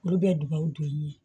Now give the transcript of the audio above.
Olu bɛ dun baaw don ye